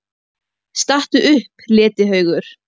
STATTU UPP, LETIHAUGUR!